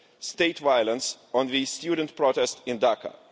state violence on the student protest in Dhaka.